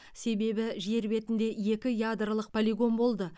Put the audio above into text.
себебі жер бетінде екі ядролық полигон болды